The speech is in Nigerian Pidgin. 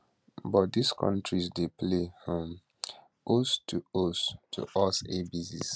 but dis kontris dey play um host to host to us airbases